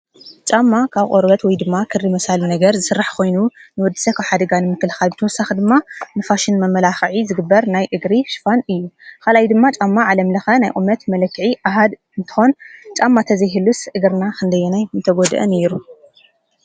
ጫማ ካብ ቖርበት ወይ ድማ ክሪ መሣሉ ነገር ዝሥራሕ ኾይኑ ንወድሰ ኽውሓደጋን ምክልኻ ብተወሳኽ ድማ ንፋሽን መመላኽዒ ዝግበር ናይ እግሪ ሽፋን እዩ። ኻልይ ድማ ጫማ ዓለምልኸ ናይ ዑመት መለክዒ ኣህድ እንተን ጫማ ተዘይህሉስ እግርና ኽንደዮናይ ምተጐድአ ነይሩ።